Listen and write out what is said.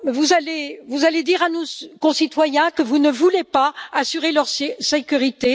Allez vous dire à nos concitoyens que vous ne voulez pas assurer leur sécurité